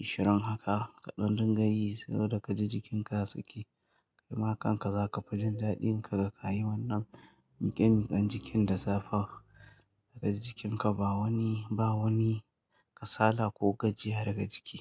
ashirin haka, kaɗan dinga yi saboda ka ji jikinka ya sake, kai ma kanka za ka fi jin daɗin ka ga ka yi wannan miƙe-miƙen jikin da safe. Za ka ji jikinka ba wani, ba wani kasala ko gajiya daga ciki.